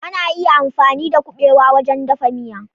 Ana iya amfani da kuɓewa wajen dafa miya.